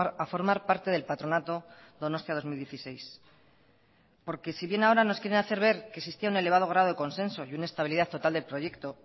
a formar parte del patronato donostia dos mil dieciséis porque si bien ahora nos quieren hacer ver que existía un elevado grado de consenso y una estabilidad total del proyecto